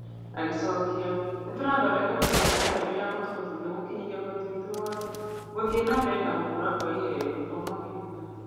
Agĩcokia, "Nĩtũrathondeka mĩtaratara mĩerũ yagũtũhotithia gũkinyĩra ũhoti witũ wothe, gũthiĩ na mbere na gũkũra kwa iheo''. Komũ akiuga.